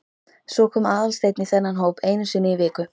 Svo kom Aðalsteinn í þennan hóp einu sinni í viku.